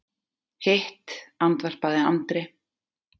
Hitt, andvarpaði Andri.